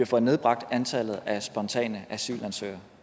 fået nedbragt antallet af spontane asylansøgere